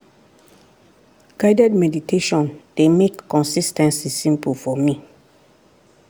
guided meditation dey make consis ten cy simple for me.